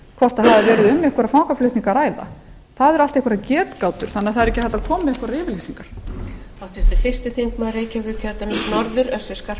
hvort það hafi verið um einhverja fangaflutninga að ræða það eru allt einhverjar getgátur þannig að það er ekki hægt að koma með einhverjar yfirlýsingar